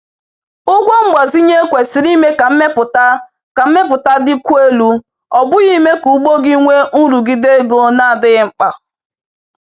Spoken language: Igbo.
Ụgwọ mgbazinye kwesịrị ime ka mmepụta ka mmepụta dịkwuo elu, ọ bụghị ime ka ugbo gị nwee nrụgide ego na-adịghị mkpa